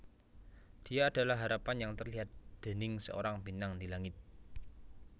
Dia adalah harapan yang terlihat déning seorang bintang di langit